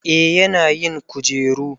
eh yana yin kujeru